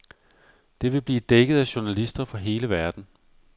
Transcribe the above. Det vil blive dækket af journalister fra hele verden.